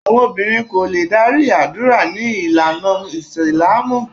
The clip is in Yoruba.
Àwọn obìnrin kò lè darí àdúrà ní ìlànà Ìsìlámù